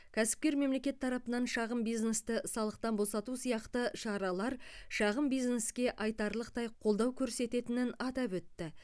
кәсіпкер мемлекет тарапынан шағын бизнесті салықтан босату сияқты шаралар шағын бизнеске айтарлықтай қолдау көрсететінін атап өтті